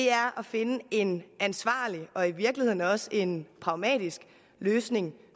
er at finde en ansvarlig og i virkeligheden også en pragmatisk løsning